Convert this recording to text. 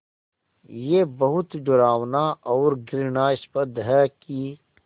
ये बहुत डरावना और घृणास्पद है कि